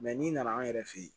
n'i nana an yɛrɛ fɛ yen